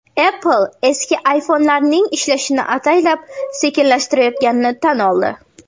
Apple eski iPhone’larning ishlashini ataylab sekinlashtirayotganini tan oldi.